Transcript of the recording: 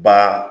Ba